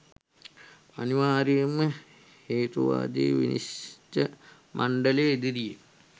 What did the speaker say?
අනිවාර්යයෙන්ම හේතුවාදී විනිශ්ච මණ්ඩලය ඉදිරියේ